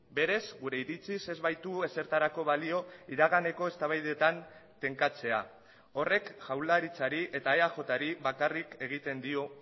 berez gure iritziz ez baitu ezertarako balio iraganeko eztabaidetan tenkatzea horrek jaurlaritzari eta eajri bakarrik egiten dio